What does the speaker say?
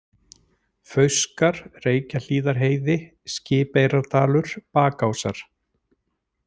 Fauskar, Reykjahlíðarheiði, Skipeyrardalur, Bakásar